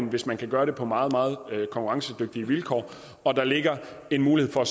hvis man kan gøre det på meget meget konkurrencedygtige vilkår og der ligger en mulighed for